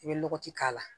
I bɛ lɔgɔti k'a la